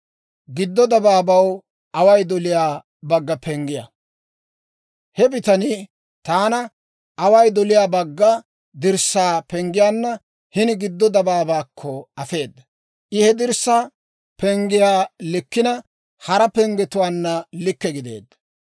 He bitanii taana away doliyaa bagga dirssaa penggiyaanna hini giddo dabaabaakko afeeda. I he dirssaa penggiyaa likkina, hara penggetuwaanna likke gideedda.